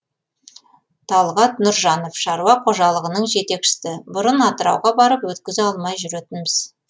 талғат нұржанов шаруа қожалығының жетекшісі бұрын атырауға барып өткізе алмай жүретінбіз